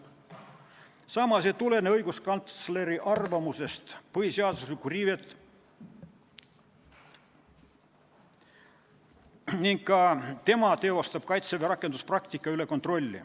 " Samas ei tulene õiguskantsleri arvamusest, et oleks põhiseaduslikku riivet ning ka tema kontrollib Kaitseväe rakenduspraktikat.